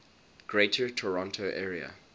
greater toronto area